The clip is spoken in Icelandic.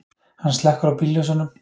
Hann slekkur á bílljósunum.